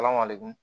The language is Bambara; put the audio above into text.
Ala ma lemun